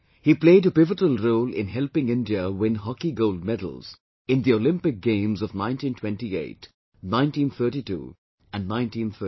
He played a pivotal role in helping India win Hockey Gold Medals in Olympic Games of 1928, 1932 and 1936